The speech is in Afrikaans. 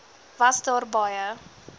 was daar baie